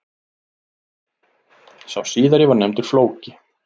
Sá síðari var nefndur Flóki.